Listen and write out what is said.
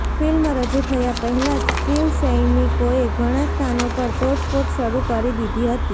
film રજૂ થયા પહેલા જ શિવસૈનિકોએ ઘણા સ્થાનો પર તોડફોડ શરૂ કરી દીધી છે